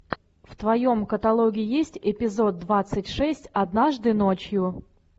в твоем каталоге есть эпизод двадцать шесть однажды ночью